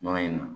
Yɔrɔ in na